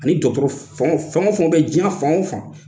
Ani dɔtɔrɔ fɛn fɛn o fɛn bɛ diɲɛ fanw fan